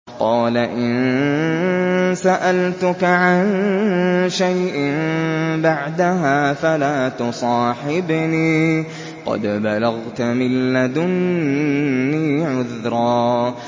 قَالَ إِن سَأَلْتُكَ عَن شَيْءٍ بَعْدَهَا فَلَا تُصَاحِبْنِي ۖ قَدْ بَلَغْتَ مِن لَّدُنِّي عُذْرًا